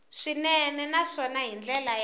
swinene naswona hi ndlela ya